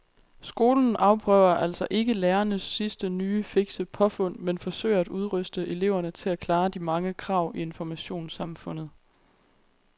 Skolen afprøver altså ikke lærernes sidste nye fikse påfund men forsøger at udruste eleverne til at klare de mange krav i informationssamfundet.